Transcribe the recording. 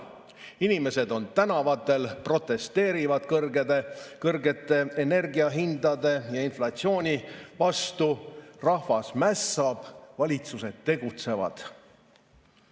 Inimesed on tänavatel, protesteerivad kõrgete energiahindade ja inflatsiooni vastu, rahvas mässab, valitsused tegutsevad.